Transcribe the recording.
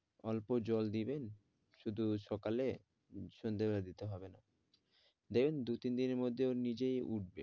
অল্প জল দেবেন শুধু সকালে সন্ধ্যাবেলা দিতে হবে না দেখবেন দু-তিন দিনের মধ্যে ও নিজেই উঠবে,